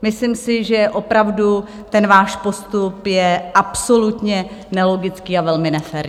Myslím si, že opravdu ten váš postup je absolutně nelogický a velmi nefér.